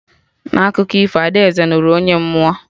Na akụkọ ifo, Ada Eze nụrụ onye mmụọ "